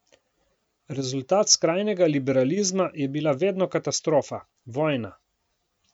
Rezultat skrajnega liberalizma je bila vedno katastrofa, vojna.